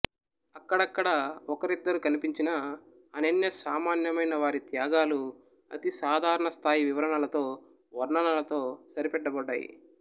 అక్కడక్కడా ఒకరిద్దరు కన్పించినా అనన్య సామాన్యమైన వారి త్యాగాలు అతి సాధారణ స్థాయి వివరణలతో వర్ణనలతో సరిపెట్టబడ్డాయి